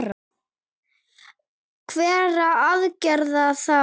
Hverra aðgerða þá?